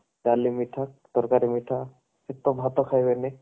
ଡାଲି ମିଠା ତରକାରୀ ମିଠା ଭାତ ଖାଇବ ବୋଲି